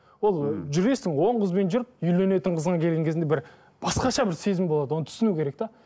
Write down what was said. ол жүресің он қызбен жүріп үйленетін қызыңа келген кезінде бір басқаша бір сезім болады оны түсіну керек те